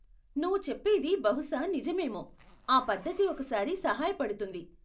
నువ్వు చెప్పేది బహుశా నిజమేమో, ఆ పద్ధతి ఒకసారి సహాయపడుతుంది.